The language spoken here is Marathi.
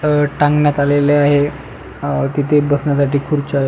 अह टांगण्यात आलेल आहे तिथे बसण्यासाठी खुर्च्या--